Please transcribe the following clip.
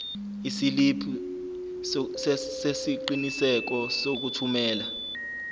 isiliphi sesiqinisekiso sokuthumela